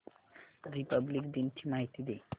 Republic दिन ची माहिती दे